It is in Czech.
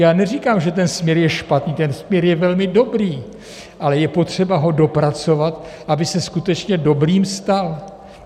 Já neříkám, že ten směr je špatný, ten směr je velmi dobrý, ale je potřeba ho dopracovat, aby se skutečně dobrým stal.